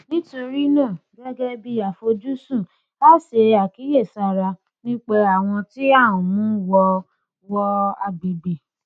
nítorí náà gẹgẹ bí àfojúsùn a ṣe ìkíyèsára nípa àwọn tí à ń mú wọ wọ agbègbè